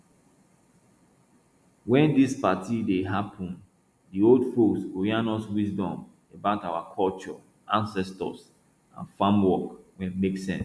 wen dis party dey happun di old folks go yarn us wisdom about our culture ancestors and farm work wey make sense